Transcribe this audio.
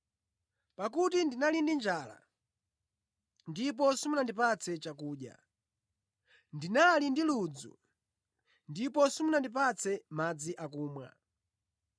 Pakuti ndinali ndi njala ndipo simunandipatse chakudya, ndinali ndi ludzu ndipo simunandipatse madzi akumwa,